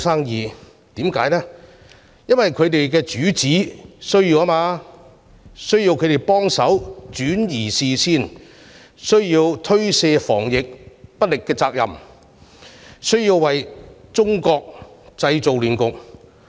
原因是他們的主子需要轉移視線，推卸防疫不力的責任，為中國製造亂局。